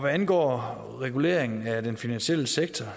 angår reguleringen af den finansielle sektor